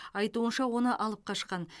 айтуынша оны алып қашқан